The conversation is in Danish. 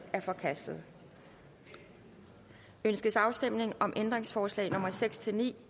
er forkastet ønskes afstemning om ændringsforslag nummer seks ni